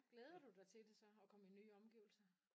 Glæder du dig til det så at komme i nye omgivelser?